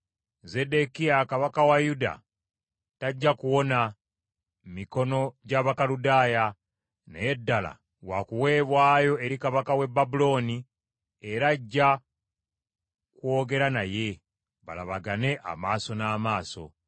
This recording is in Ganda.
Zeddekiya kabaka wa Yuda tajja kuwona mikono gy’Abakaludaaya naye ddala wa kuweebwayo eri kabaka w’e Babulooni era ajja kwogera naye, balabagane amaaso n’amaaso.